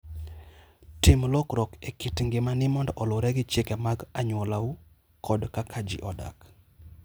Tim lokruok e kit ngimani mondo oluwre gi chike mag anyuolau kod kaka ji odak.